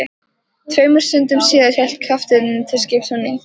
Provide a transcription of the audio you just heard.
Tveimur stundum síðar hélt kafteinninn til skips á ný.